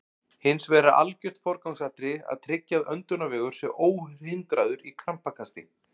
Hins vegar er algjört forgangsatriði að tryggja að öndunarvegur sé óhindraður í krampakasti.